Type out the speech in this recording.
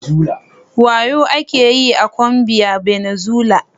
Wayuu ake yi a Colombia, Venezuela